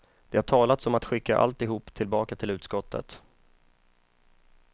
Det har talats om att skicka alltihop tillbaka till uttskottet.